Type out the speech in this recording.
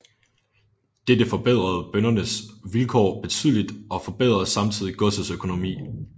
Dette forbedrede bøndernes vilkår betydeligt og forbedrede samtidig godsets økonomi